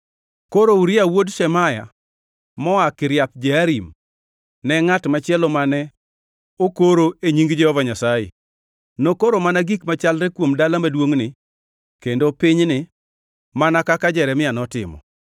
(Koro Uria wuod Shemaya moa Kiriath Jearim ne ngʼat machielo mane okoro e nying Jehova Nyasaye; nokoro mana gik machalre kuom dala maduongʼni kendo pinyni mana kaka Jeremia notimo.